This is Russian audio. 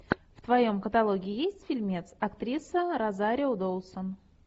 в твоем каталоге есть фильмец актриса розарио доусон